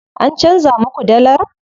An canza muka dallar?